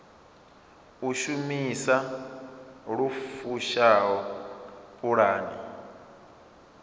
u shumisa lu fushaho pulane